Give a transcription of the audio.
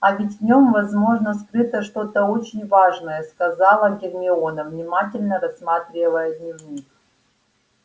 а ведь в нём возможно скрыто что-то очень важное сказала гермиона внимательно рассматривая дневник